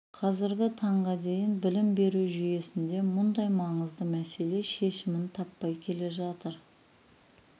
қазіргі таңға дейін білім беру жүйесінде мұндай маңызды мәселе шешімін таппай келе жатыр